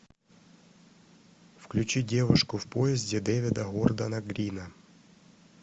включи девушку в поезде дэвида вордена грина